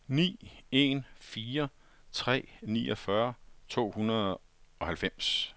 ni en fire tre niogfyrre to hundrede og halvfems